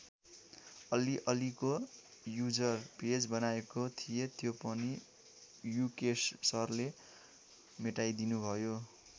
अलि अलिको user page बनाएको थिएँ त्यो पनि युकेश सरले मेटाइदिनुभयो।